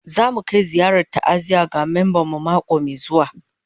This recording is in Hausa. Za mu kai ziyarar ta'aziyya ga memban mu mako mai zuwa